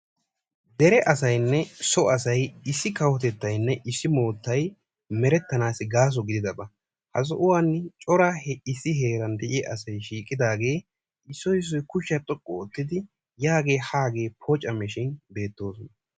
Dere asaynne so asayi issi kawotettaynne issi moottayi merettanaassi gaaso gididaba. Ha sohuwan cora issi heeran de"iya. asayi shiiqidaagee isdoyi issoyi kushiya xoqqu oottidi yaagee haagee poocammishin beettoosona.